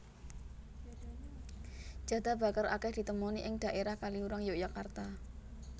Jadah bakar akèh ditemoni ing dhaérah Kaliurang Yogyakarta